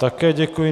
Také děkuji.